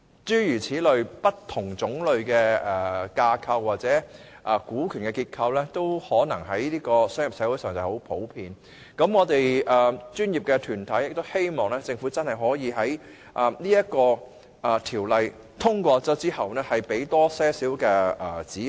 這些不同類型的架構或股權結構，在商業社會是很普遍的，所以我們的專業團體希望政府可以在《條例草案》獲通過後提供更多指引。